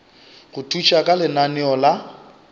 go thuša ka lenaneo la